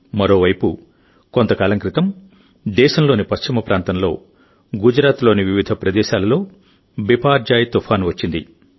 మరోవైపు కొంతకాలం క్రితం దేశంలోని పశ్చిమ ప్రాంతంలోగుజరాత్ లోని వివిధ ప్రదేశాలలో బిపార్జాయ్ తుఫాను వచ్చింది